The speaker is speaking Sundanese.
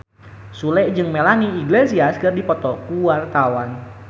Sule jeung Melanie Iglesias keur dipoto ku wartawan